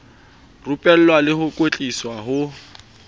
rupella le ho kwetlisa ho